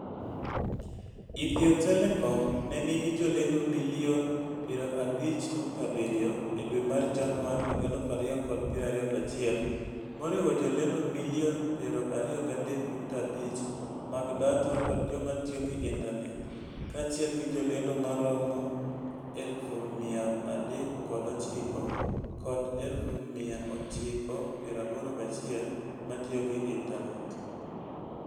Ethio Telecom ne nigi jolendo milion 50.7 e dwe mar Januar 2021, moriwo jolendo milion 23.5 mag data kod joma tiyo gi intanet, kaachiel gi jolendo maromo 309,000 kod 981,000 ma tiyo gi intanet.